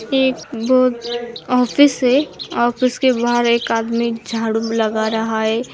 एक बहुत ऑफिस है ऑफिस के बाहर एक आदमी झाड़ू लगा रहा है।